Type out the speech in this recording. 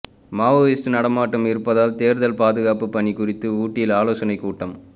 Maoist நடமாட்டம் இருப்பதால் தேர்தல் பாதுகாப்பு பணி குறித்து ஊட்டியில் ஆலோசனை கூட்டம்